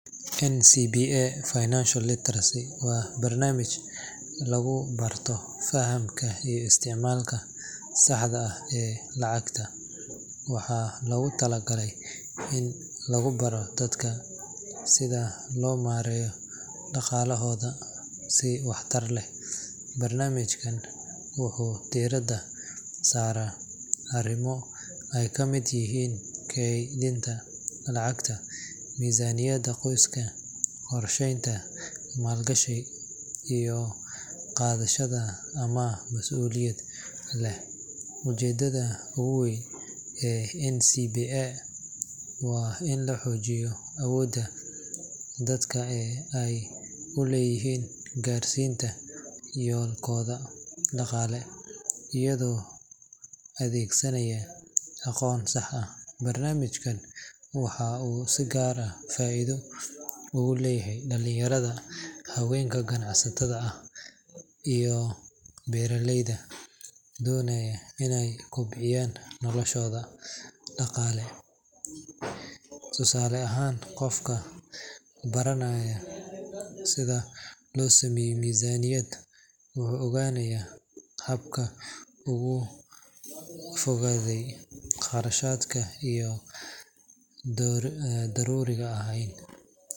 NCBA Financial Literacy waa barnaamij lagu barto fahamka iyo isticmaalka saxda ah ee lacagta, waxaana loogu talagalay in lagu baro dadka sida loo maareeyo dhaqaalahooda si waxtar leh. Barnaamijkan wuxuu diiradda saaraa arrimo ay kamid yihiin keydinta lacagta, miisaaniyadda qoyska, qorsheynta maalgashi, iyo qaadashada amaah mas’uuliyad leh. Ujeeddada ugu weyn ee NCBA waa in la xoojiyo awoodda dadka ee ay u leeyihiin gaarsiinta yoolkooda dhaqaale iyagoo adeegsanaya aqoon sax ah. Barnaamijkan waxa uu si gaar ah faa’iido ugu leeyahay dhalinyarada, haweenka ganacsatada ah iyo beeraleyda doonaya inay kobciyaan noloshooda dhaqaale. Tusaale ahaan, qofka baranaya sida loo sameeyo miisaaniyad wuxuu ogaanayaa habka uu uga fogaado kharashaadka aan daruuriga ahayn.